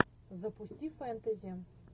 запусти фэнтези